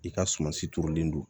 I ka sumansi turulen don